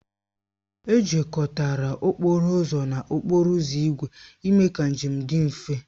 Ejikọtara okporo ụzọ na okporo ígwè ime ka njem dị mfe